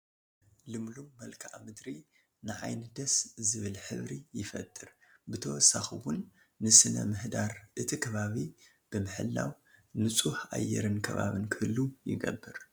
ልምሉም መልከኣ ምድሪ ንዓይኒ ደስ ዝብል ሕብሪ ይፈጥር፡፡ ብተወሳኺ እውን ንስነ ምህዳር እቲ ከባቢ ብምሕላው ንፁህ ኣየርን ከባብን ክህሉ ይገብር፡፡